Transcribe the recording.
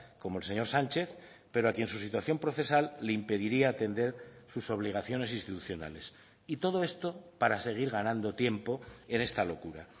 como el señor sánchez pero a quien su situación procesal le impediría atender sus obligaciones institucionales y todo esto para seguir ganando tiempo en esta locura